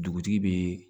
Dugutigi bɛ